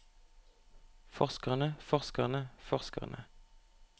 forskerne forskerne forskerne